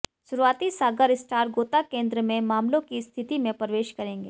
शुरुआती सागर स्टार गोता केंद्र में मामलों की स्थिति में प्रवेश करेंगे